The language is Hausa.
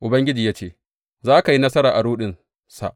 Ubangiji ya ce, Za ka yi nasara a ruɗinsa.